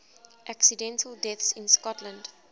accidental deaths in scotland